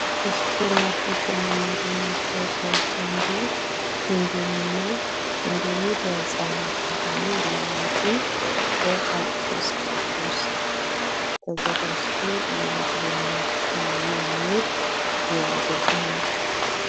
በሱፐር ማርኬት ከምናገኛቸው እቃዎች አንዱ ኢንዶሚን ነው። ኢንዶሚን ለፃናት ሆነ ለአዋቂ በአጭር ሰዓት ውስጥ ተዘጋጅቶ ለምግብነት የሚውል የምግብ ዓይነት።